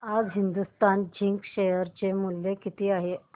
आज Hindustan zinc share चे मूल्य किती आहे